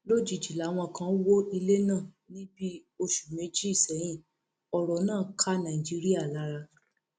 lójijì làwọn kan wọ ilẹ náà ní bíi oṣù méjì sẹyìn ọrọ náà ká nàìjíríà lára